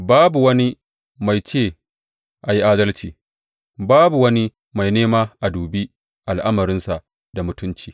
Babu wani mai ce a yi adalci; babu wani mai nema a dubi al’amarinsa da mutunci.